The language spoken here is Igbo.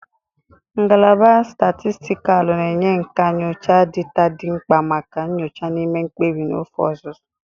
Ngalaba Statistikalu na-enye nkà nyocha data dị mkpa maka nyocha na ime mkpebi n'ofe ọzụzụ.